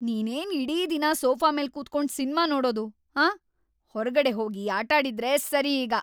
ನೀನೇನ್ ಇಡೀ ದಿನ ಸೋಫಾ ಮೇಲ್ ಕೂತ್ಕೊಂಡ್ ಸಿನ್ಮಾ ನೋಡೋದು, ಆಂ? ಹೊರ್ಗಡೆ ಹೋಗಿ ಆಟಾಡಿದ್ರೇ ಸರಿ ಈಗ!